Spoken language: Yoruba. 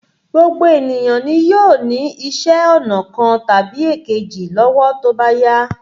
Gbogbo ènìyàn nì yóò ní iṣẹ́ ọnà kan tàbí èkejì lówó tó bá yá.